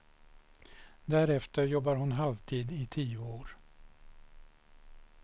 Därefter jobbar hon halvtid i tio år.